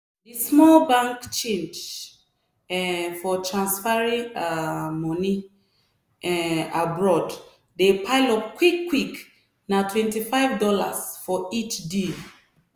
small business pipo dey waka dey find um how to talk better price when dem dey um face those big companies.